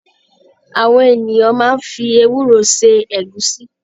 Àwọn ènìyàn maá ń fi ewúro se Ẹ̀gúsí